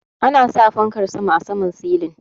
Ana sa Fankar sama a saman silin.